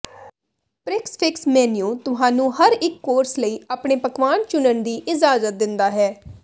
prix fixe menu ਤੁਹਾਨੂੰ ਹਰ ਇੱਕ ਕੋਰਸ ਲਈ ਆਪਣੇ ਪਕਵਾਨ ਚੁਣਨ ਦੀ ਇਜਾਜ਼ਤ ਦਿੰਦਾ ਹੈ